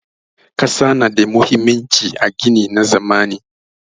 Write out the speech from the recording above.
Ƙasa na da muhimmanci a gini na zamani.